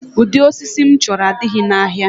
Ụdị osisi m chọrọ adịghị n'ahịa